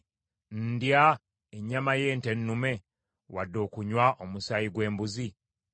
Ndya ennyama y’ente ennume, wadde okunywa omusaayi gw’embuzi?